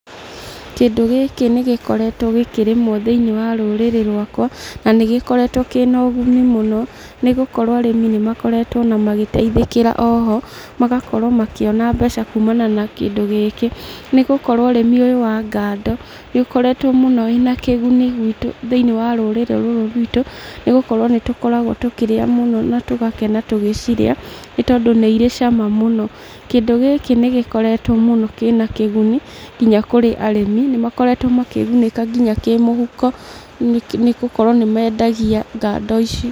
Kĩndũ gĩkĩ nĩ gĩkoretwo gĩkĩrĩmwo thĩinĩ wa rũrĩrĩ rwakwa, na nĩ gĩkoretwo kĩna ũguni mũno, nĩ gũkorwo arĩmĩ nĩ makoretwo ona magĩteithĩkĩra oho, magakorwo makĩona mbeca kuumana na kĩndũ gĩkĩ, nĩ gũkorwo ũrĩmi ũyũ wa ngando, nĩũkoretwo mũno wĩna kĩguni gwitũ thĩinĩ wa rũrĩrĩ rũrũ rwitũ, nĩ gũkorwo nĩ tũkoragwo tũkĩrĩa mũno na tũgakena tũgĩcirĩa, nĩgũkorwo nĩ irĩ cama mũno. Kĩndũ gĩkĩ nĩ gĩkoretwo mũno kĩna kĩguni, nginya kũrĩ arĩmi nĩ makoretwo makĩgunĩka nginya kĩmũhuko, nĩgũkorwo nĩ mendagia ngando ici.